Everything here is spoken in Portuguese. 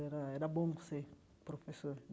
Era era bom ser professor.